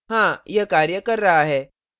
हाँ यह कार्य कर रहा है